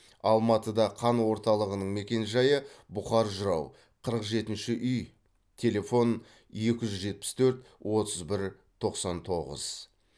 алматыда қан орталығының мекенжайы бұқар жырау қырық жетінші үй телефон екі жүз жетпіс төрт отыз бір тоқсан тоғыз